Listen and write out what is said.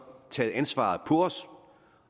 taget ansvaret på os